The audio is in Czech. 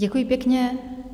Děkuji pěkně.